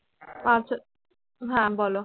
আচ্ছা হ্যাঁ বলো।